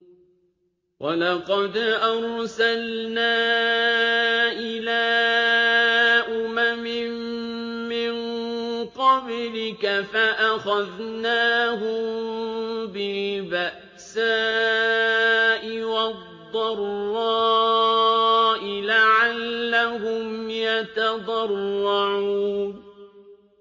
وَلَقَدْ أَرْسَلْنَا إِلَىٰ أُمَمٍ مِّن قَبْلِكَ فَأَخَذْنَاهُم بِالْبَأْسَاءِ وَالضَّرَّاءِ لَعَلَّهُمْ يَتَضَرَّعُونَ